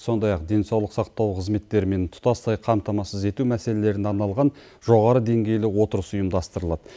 сондай ақ денсаулық сақтау қызметтерімен тұтастай қамтамасыз ету мәселелеріне арналған жоғары деңгейлі отырыс ұйымдастырылады